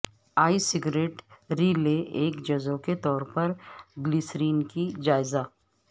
ای cigarette ری لیے ایک جزو کے طور پر گلیسرین کی جائزہ